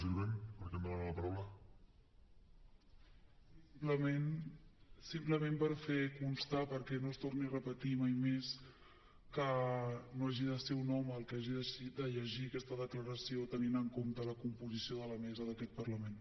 sí simplement per fer constar perquè no es torni a repetir mai més que no hagi de ser un home el que hagi de llegir aquesta declaració tenint en compte la composició de la mesa d’aquest parlament